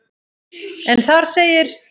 en þar segir